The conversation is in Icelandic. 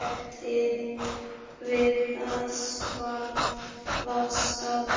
Við það var staðið.